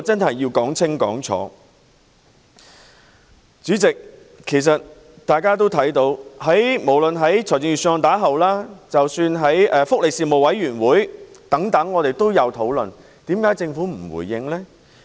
代理主席，大家也看到，其實在預算案發表後，在立法會福利事務委員會等亦有進行討論，為甚麼政府不回應呢？